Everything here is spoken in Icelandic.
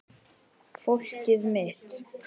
Fólkið mitt